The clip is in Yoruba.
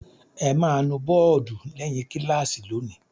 Ẹ máa nu bọ́ọ́dù lẹ́yìn kíláàsì lónìí!